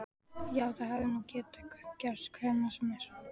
Já, það hefði nú getað gerst hvenær sem er.